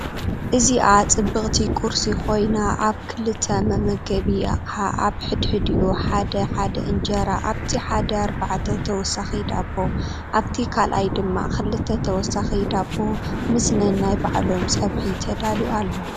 እዚኣ ፅብቅቲ ቁርሲ ኮይና አብ ክልተ መመገቢ አቅሓ አብ ሕድሕዲኡ ሓደ ሓደ እንጀራ፣ አብቲ ሓደ አርባዕተ ተወሳኪ ዳቦ አብቲ ካልአይ ድማ ክልተ ተወሰክቲ ዳቦ ምስ ነናይ ባዕሎም ፀብሒ ተዳልዩ አሎ፡፡